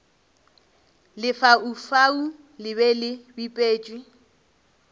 lefaufau le be le bipetšwe